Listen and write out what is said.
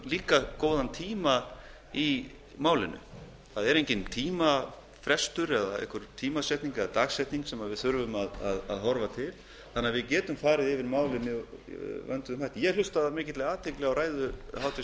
líka góðan tíma í málinu það er enginn tímafrestur eða einhver tímasetning eða dagsetning sem við þurfum að horfa til þannig að við getum farið yfir málin með vönduðum hætti ég hlustaði af mikilli athygli á ræðu háttvirts